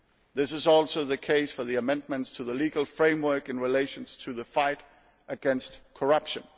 This is also the case for the amendments to the legal framework in relation to the fight against corruption.